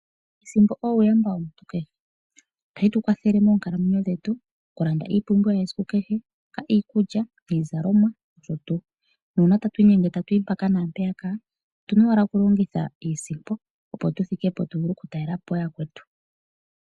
Iisimpo uuyamba womuntu kehe. Ohayi tu kwathele moonkalamwenyo dhetu. Okulanda iipumbiwa yesiku kehe, iikulya, iizalomwa nosho tuu. Nuuna tatu inyenge tatu yi mpaka naampeyaka otuna owala kulongitha iisimpo opo tu thike po tu vule okutalela po yakwetu.